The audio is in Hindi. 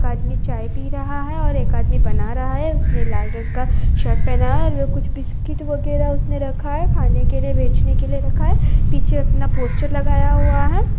एक आदमी चाय पी रहा है और एक आदमी बना रहा है उसने लाल रंग का शर्ट पहना है और वो कुछ बिस्किट वगैरा उसने रखा है खाने के लिए बेचने के लिए रखा है पीछे अपना पोस्टर लगाया हुआ है।